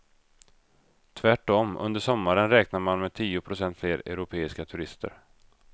Tvärtom, under sommaren räknar man med tio procent fler europeiska turister.